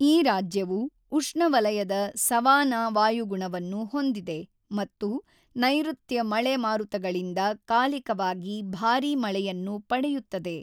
ಈ ರಾಜ್ಯವು ಉಷ್ಣವಲಯದ ಸವಾನಾ ವಾಯುಗುಣವನ್ನು ಹೊಂದಿದೆ ಮತ್ತು ನೈಋತ್ಯ ಮಳೆ ಮಾರುತಗಳಿಂದ ಕಾಲಿಕವಾಗಿ ಭಾರೀ ಮಳೆಯನ್ನು ಪಡೆಯುತ್ತದೆ.